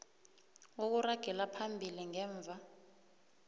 ukuragela phambili ngemva